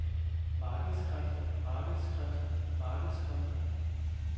markedskræfter markedskræfter markedskræfter